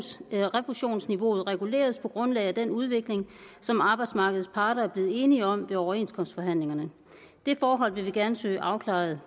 at refusionsniveauet reguleres på grundlag af den udvikling som arbejdsmarkedets parter er blevet enige om ved overenskomstforhandlingerne det forhold vil vi gerne søge afklaret